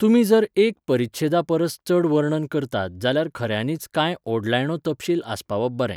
तुमी जर एक परिच्छेदा परस चड वर्णन करतात जाल्यार खऱ्यांनीच कांय ओडलायणो तपशील आसपावप बरें!